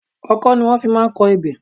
Ọkọ ni wọ́n fi máa ń kọ ebè.